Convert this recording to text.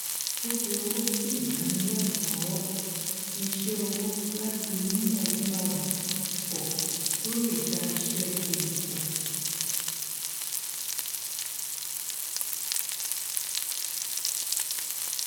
ó fi owó sí ìdánilẹkọọ iṣẹ ọwọ láti mú ọgbọn rẹ pọ kí ó lè dá iṣẹ tirẹ pọ